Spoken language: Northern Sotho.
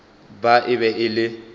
ba e be e le